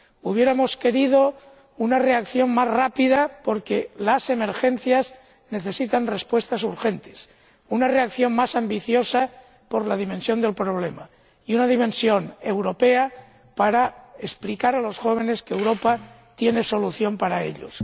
Hubiéramos querido una reacción más rápida porque las emergencias necesitan respuestas urgentes, una reacción más ambiciosa por la dimensión del problema y una dimensión europea para explicar a los jóvenes que Europa tiene soluciones para ellos.